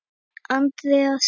Þín Andrea Sif.